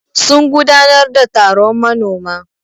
Sun gudanar da taron manoma.